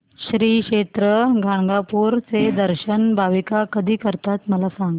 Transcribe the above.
श्री क्षेत्र गाणगापूर चे दर्शन भाविक कधी करतात मला सांग